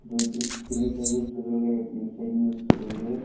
দুদিন তিনি চৰিদিন তিনি চৰিদিনৰ পিছত উলিয়াই